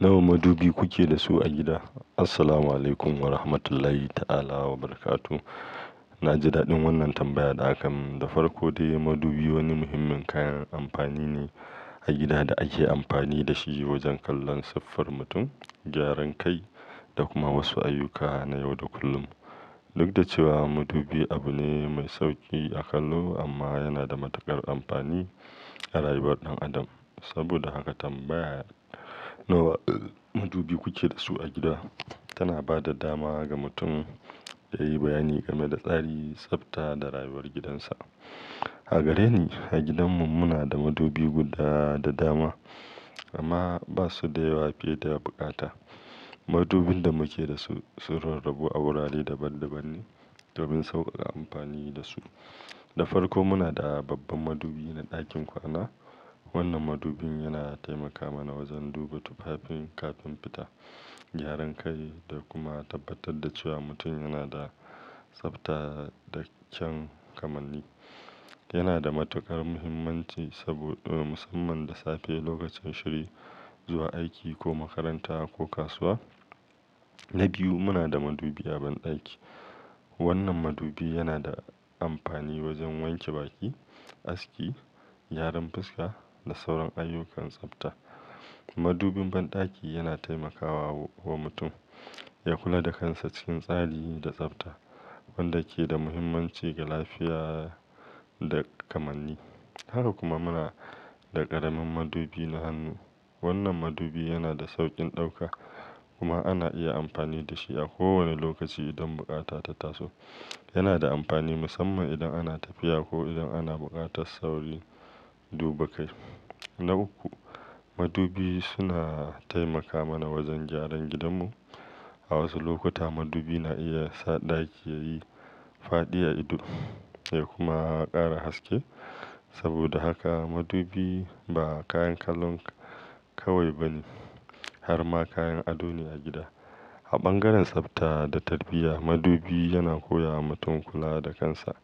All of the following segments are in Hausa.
Nawa madubi kuke da su a gida? Assalamualaikum Warahmatullahi Ta'ala Wabarakatuhu. Na ji dadin wannan tambaya da aka mun. Da farko dai, madubi wani muhimmin kayan amfani ne a gida da ake amfani da shi wajen kallon siffar mutum, gyaran kai da kuma wasu ayyuka na yau da kullum. Duk da cewa madubi abu ne mai sauki a kallo amma yana da matuƙar amfani a rayuwar ɗan adam. Saboda haka tambaya"Nawa madubi kuke da su a gida?" tana ba da dama ga mutum yayi bayani game da tsari, tsabta da rayuwar gidansa. A gare ni, a gidanmu muna da madubi guda da dama amma ba su da yawa fiye da bukata. Madubin da muke da su, sun rarrabu a wurare daban dabanne domin saukaka amfani da su. Da farko muna da babban madubi na dakin kwana. Wannan madubin yana taimaka mana wajen duba tufafin kafin fita, gyaran kai da kuma tabbatar da cewa mutum yana da tsabta da kyan kamanni. Yana da matukar muhimmanci saboda musamman da safe lokacin shiri zuwa aiki ko makaranta ko kasuwa. Na biyu, muna da madubi a bandaki. Wannan madubi yana da amfani wajen wanke baki, aski, gyaran fuska da sauran ayyukan tsabta. Madubin bandaki yana taimakawa wa mutum ya kula da kansa cikin tsari da tsabta wanda ke da muhimmanci ga lafiya da kamanni. Haka kuma muna da ƙaramin madubi na hannu. Wannan madubi yana da saukin dauka kuma ana iya amfani da shi a kowane lokaci idan bukata ta taso. Yana da amfani musamman idan ana tafiya ko irin ana bukatar saurin duba kai. Na uku, madubi suna taimaka mana wajen gyaran gidanmu. A wasu lokuta madubi na iya sa ɗaki yayi faɗi a ido ya kuma ƙara haske. Saboda haka madubi ba kayan kalon kawai bane harma kayan ado ne a gida. A bangaren tsabta da tarbiyya, madubi yana koya wa mutum kula da kansa.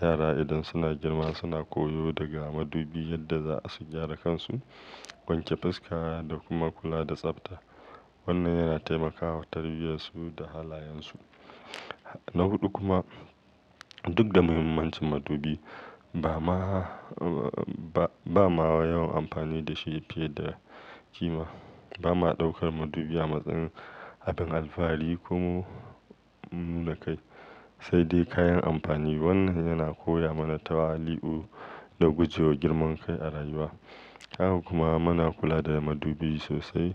Yara idan suna girma suna koyo daga madubi yadda za su gyara kansu, wanke fuska da kuma kula da tsabta. Wannan yana taimakawa tarbiyyar su da halayensu. Na huɗu kuma, duk da muhimmancin madubi ba ma yawan amfani da shi fiye da kima. Ba ma daukar madubi a matsayin abin alfahari ko na kai sai dai kayan amfani. Wannan yana koya mana tawali'u da guje wa girman kai a rayuwa. Haka kuma muna kula da madubi sosai.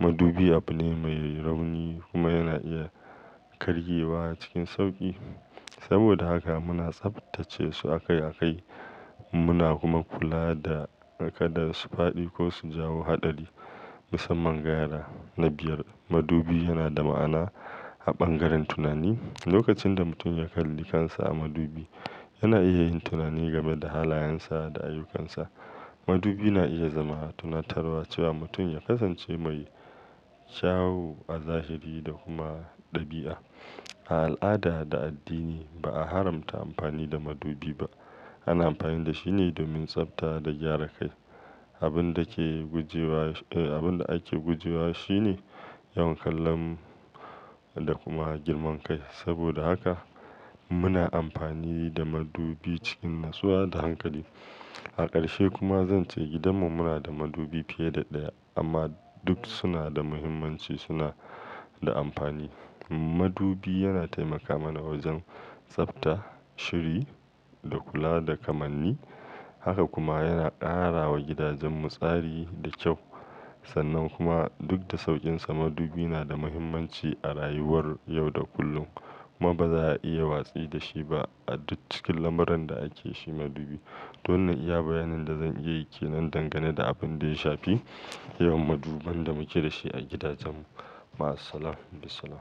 Madubi abu ne mai rauni kuma yana iya kargewa cikin sauki. Saboda haka muna tsaftace su akai akai muna kuma kula da kada su fadi ko su jawo hadari musamman ga yara. Na biyar, madubi yana da ma'ana a bangaren tunani. Lokacin da mutum ya kalli kansa a madubi, yana iya yin tunani game da halayensa da ayyukansa. Madubi na iya zama tunatarwa cewa mutum ya kasance mai kyawo a zahiri da kuma dabi'a. A al'ada da addini ba a haramta amfani da madubi ba. Ana amfani da shi ne domin tsabta da gyara kai. Abinda ke abin da ake gujewa shine yawan kallon da kuma girman kai. Saboda haka muna amfani da madubi cikin natsuwa da hankali. A karshe kuma zan ce gidanmu muna da madubi fiye da daya amma duk suna da muhimmanci suna da amfani. Madubi yana taimaka mana wajen tsabta, shiri da kula da kamanni. Haka kuma yana karawa gidajen mu tsari da kyau. Sannan kuma duk da saukinsa madubi na da muhimmanci a rayuwar yau da kullum kuma ba za a iya watsi da shi ba a duk cikin lamuran da ake shi madubi. Don iya bayanin da zan iya yi ke nan dangane da abin da ya shafi yawan maduban da muke da shi a gidajen mu. Ma'assalam, Bis'salam.